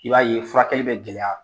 I b'a ye furakɛli bɛ gɛlɛya.